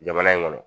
Jamana in kɔnɔ